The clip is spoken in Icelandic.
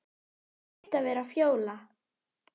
Hlaut að vera Fjóla.